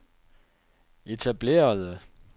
etablerede